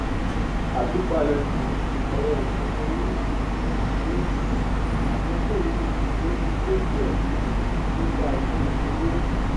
àtúpalẹ um ọrọ ìṣúná ní um ní um àkókò yìí o ti kọ díẹ um nípa ìṣirò owó